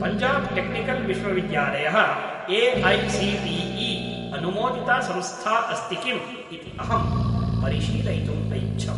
Punjab technical विश्वविद्यालयः AICTE. अनुमोदिता संस्था अस्ति किम् इति अहं परिशीलयितुम् ऐच्छम्।